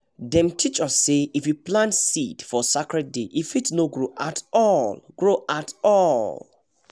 dem teach us say if you plant seed for sacred day e fit no grow at all grow at all